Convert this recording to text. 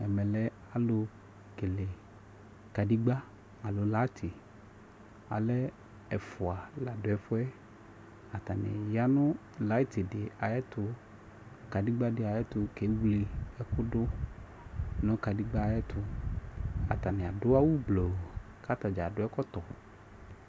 Ɛmɛ lɛ alʋ kele kadigba aloo layiti Alɛ ɛfua la dʋ ɛfʋɛ Atani ya nʋ layiti di ayɛtʋ, kadigba di ayɛtʋ kewili ɛkʋ dʋ nʋ kadigba y'ɛtʋ Atani adu awʋ gblo katadza adʋ ɛkɔtɔ